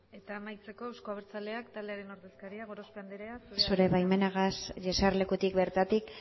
amaitzeko euzko abertzaleak taldearen ordezkaria gorospe andere zurea da hitza zure baimenarekin jesarlekutik bertatik